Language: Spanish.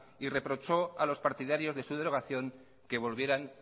y reprochó a los partidarios de su derogación que volvieran